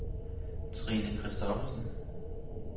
Trine Kristoffersen